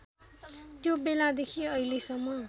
त्यो बेलादेखि अहिलेसम्म